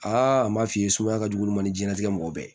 Aa an b'a f'i ye suma ka jugu olu ma ni diɲɛlatigɛ mɔgɔ bɛɛ